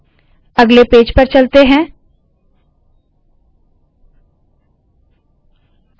अगले पेज पर चलते है